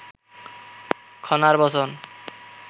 খনার বচন